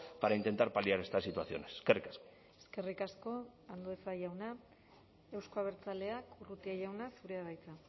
para intentar paliar estas situaciones eskerrik asko eskerrik asko andueza jauna euzko abertzaleak urrutia jauna zurea da hitza